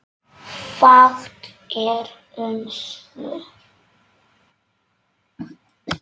Fátt er um svör.